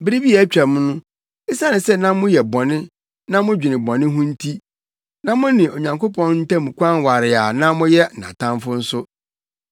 Bere bi a atwam no, esiane sɛ na moyɛ bɔne na modwene bɔne ho nti, na mo ne Onyankopɔn ntam kwan ware a na moyɛ nʼatamfo nso.